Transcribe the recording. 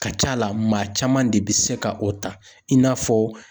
Ka ca la maa caman de bi se ka o ta i n'a fɔ